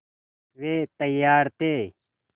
वे तैयार थे